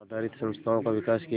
आधारित संस्थाओं का विकास किया